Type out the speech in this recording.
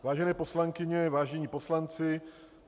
Vážené poslankyně, vážení poslanci.